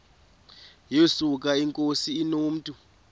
yesuka inkosi inomntu